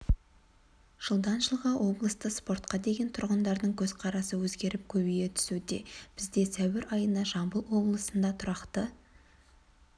жылдан жылға облыста спортқа деген тұрғындардың көзқарасы өзгеріп көбейе түсуде бізде сәуір айына жамбыл облысында тұрақты